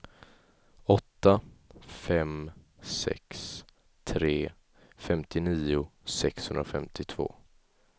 åtta fem sex tre femtionio sexhundrafemtiotvå